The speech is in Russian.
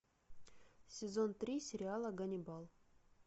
сезон три сериала ганнибал